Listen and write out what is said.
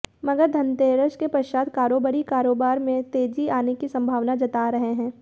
मगर धनतेरस के पश्चात कारोबारी कारोबार में तेजी आने की संभावनाएं जता रहे हैं